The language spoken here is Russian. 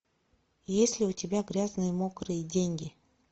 есть ли у тебя грязные мокрые деньги